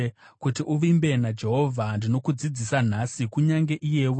Kuti uvimbe naJehovha, ndinokudzidzisa nhasi, kunyange iyewe.